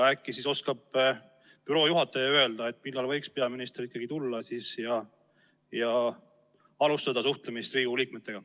Äkki oskab büroo juhataja öelda, millal võiks peaminister tulla ja alustada suhtlemist Riigikogu liikmetega.